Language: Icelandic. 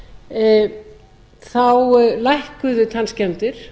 tíu ára tímabili lækkuðu tannskemmdir